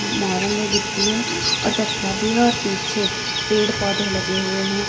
मोरंग है गिट्टी है और तसला भी है और पीछे पेड़ पौधे लगे हुए हैं।